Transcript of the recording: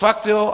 Fakt jo.